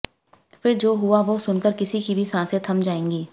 फिर जो हुआ वो सुनकर किसी की भी सांसें थम जाएंगी